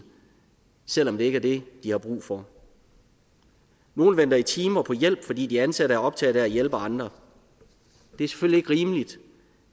selv om det ikke er det de har brug for nogle venter i timer på hjælp fordi de ansatte er optaget af at hjælpe andre det er selvfølgelig ikke rimeligt